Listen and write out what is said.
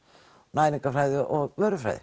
næringarfræði og